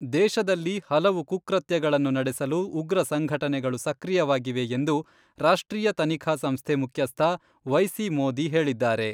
ದೇಶದಲ್ಲಿ ಹಲವು ಕುಕೃತ್ಯಗಳನ್ನು ನಡೆಸಲು ಉಗ್ರ ಸಂಘಟನೆಗಳು ಸಕ್ರಿಯವಾಗಿವೆ ಎಂದು ರಾಷ್ಟ್ರೀಯ ತನಿಖಾ ಸಂಸ್ಥೆ ಮುಖ್ಯಸ್ಥ ವೈ.ಸಿ.ಮೋದಿ ಹೇಳಿದ್ದಾರೆ.